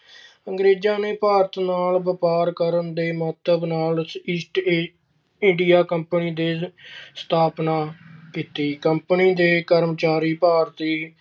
ਅੰਗਰੇਜ਼ਾਂ ਨੇ ਭਾਰਤ ਨਾਲ ਵਪਾਰ ਕਰਨ ਦੇ ਮੰਤਵ ਨਾਲ East India Company ਦੀ East India Company ਦੀ ਸਥਾਪਨਾ ਕੀਤੀ। company ਦੇ ਕਰਮਚਾਰੀ ਭਾਰਤੀ